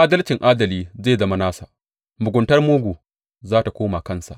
Adalcin adali zai zama nasa, muguntar mugu za tă koma kansa.